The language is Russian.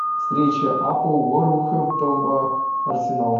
встреча апл вулверхэмптон арсенал